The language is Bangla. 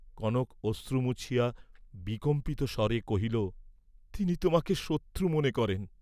কনক অশ্রু মুছিয়া বিকম্পিত স্বরে কহিল, তিনি তোমাকে শত্রু মনে করেন?